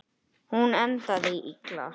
Hún endaði illa.